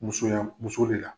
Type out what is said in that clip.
Musoya muso de la.